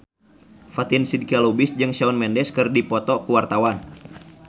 Fatin Shidqia Lubis jeung Shawn Mendes keur dipoto ku wartawan